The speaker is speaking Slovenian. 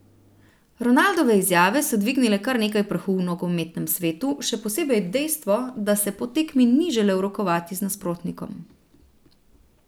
Ronaldove izjave so dvignile kar nekaj prahu v nogometnem svetu, še posebej dejstvo, da se po tekmi ni želel rokovati z nasprotnikom.